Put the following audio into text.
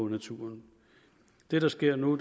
naturen det der sker nu